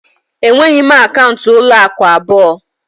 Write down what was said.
Enweghị m akaụntụ ụlọ akụ abụọ